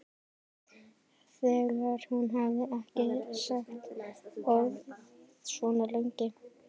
Þegar hún hafði ekki sagt orð svona lengi.